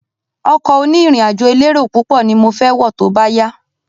Ọkọ̀ oní ìrìn àjò elérò púpọ̀ ni mo fẹ wọ tóbá yá